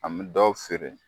An m dɔw feere